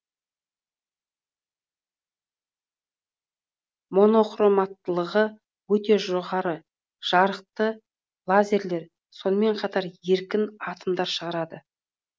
монохроматтылығы өте жоғары жарықты лазерлер сонымен қатар еркін атомдар шығарады